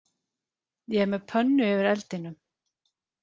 Ég er með pönnu yfir eldinum